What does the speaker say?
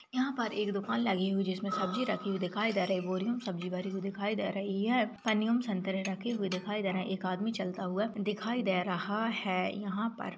यहाँ पर एक दुकान लगी हुई जिसमें सब्जी रखी हुई दिखाई दे रही बोरियो में सब्जी भरी हुई दिखाई दे रही है पनियों में संतरे रखे हुए दिखाई दे रहे हैं एक आदमी चलता हुआ दिखाई दे रहा है यहाँ पर --